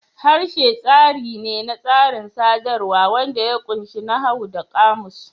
Harshe tsari ne na tsarin sadarwa wanda ya ƙunshi nahawu da ƙamus.